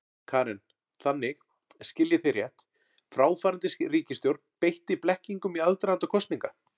Karen: Þannig, skil ég þig rétt, fráfarandi ríkisstjórn beitti blekkingum í aðdraganda kosninga?